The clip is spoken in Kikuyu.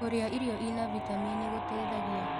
Kũrĩa irio ĩrĩ na vĩtamenĩ gũteĩthagĩa